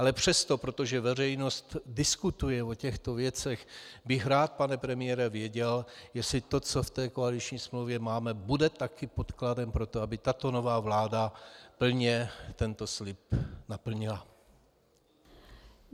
Ale přesto, protože veřejnost diskutuje o těchto věcech, bych rád, pane premiére, věděl, jestli to, co v té koaliční smlouvě máme, bude také podkladem pro to, aby tato nová vláda plně tento slib naplnila.